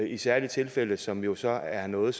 i særlige tilfælde som jo så er noget